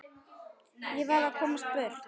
Ég varð að komast burt.